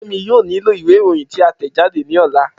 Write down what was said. Femi yoo nilo iwe iroyin ti a tẹjade ni ọla.